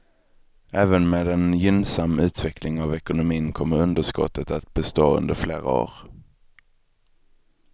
Även med en gynnsam utveckling av ekonomin kommer underskottet att bestå under flera år.